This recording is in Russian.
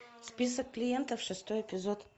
список клиентов шестой эпизод